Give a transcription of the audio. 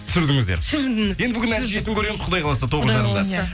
түсірдіңіздер енді бүгін нәтижесін көреміз құдай қаласа тоғыз жарымда құдай қаласа